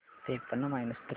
त्रेपन्न minus three